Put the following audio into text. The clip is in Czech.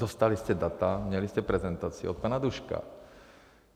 Dostali jste data, měli jste prezentaci od pana Duška.